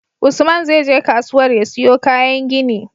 Usman zai je kasuwar ya siyo kayan gini